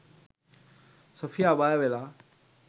Sophia බය වෙලා